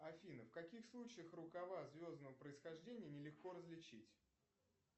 афина в каких случаях рукава звездного происхождения нелегко различить